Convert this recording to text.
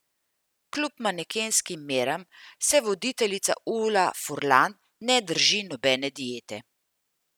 Kljub manekenskim meram se voditeljica Ula Furlan ne drži nobene diete.